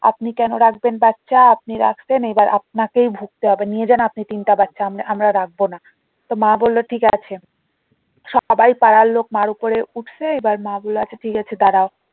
আপনি কেন রাখবেন বাচ্চা আপনি রাখছেন এইবার আপনাকেও ভুগতে হবে নিয়ে যান আপনি তিনটা বাচ্চা আমরা রাখবো না। তো মা বললো ঠিক আছে সবাই পাড়ার লোক মার উপরে উঠেছে এবার মা বললো আচ্ছা ঠিক আছে দাঁড়াও